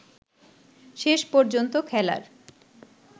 শেষ পর্যন্ত খেলার